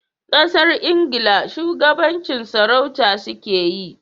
Kasar Ingila shugabancin sarauta su ke yi